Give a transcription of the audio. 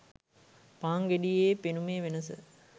පාන් ගෙඩියේ පෙනුමේ වෙනස